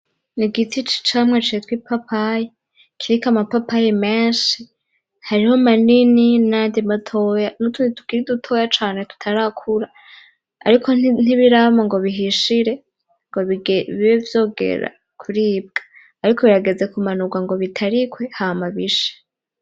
Ni igiti c'icamwa citwa ipapayi kiriko amapapayi menshi, hariho manini nayandi matoya nutundi tukiri dutoya cane tutarakura ariko ntibirama ngo bihishire ngo bibe vyogera kuribwa ariko birageze kumanurwa ngo bitarikwe hama bishe.